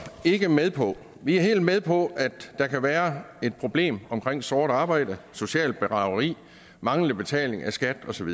ikke med på vi er helt med på at der kan være et problem omkring sort arbejde socialt bedrageri manglende betaling af skat osv